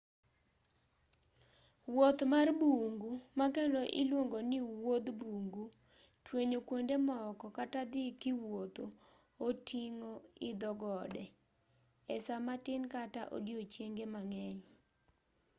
wuoth mar bungu ma kendo iluongo ni wuodh bungu” twenyo kuonde moko” kata dhii kiwuotho” oting'o idho gode e saa matin kata odichienge mang'eny